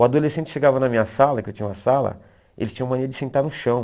O adolescente chegava na minha sala, que eu tinha uma sala, ele tinha uma mania de sentar no chão.